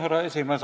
Härra esimees!